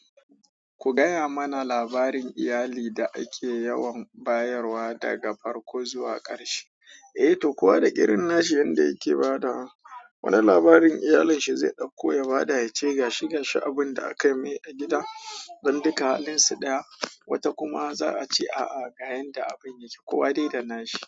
Ku gaya mana labarin iyali da ake yawan bayarwa daga farko zuwa ƙarshe. Eh to, kowa da kirin nashi yanda yake badawa, wani labarin iyalanshi zai ɗauko ya bada, ya ce gashi gashi abin da aka mai a gida dan duka halinsu daya. Wata kuma za a ce a'a, ga yanda abin yake, kowa dai da nashi.